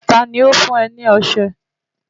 Ta ni ó fún ọ ní ọṣẹ?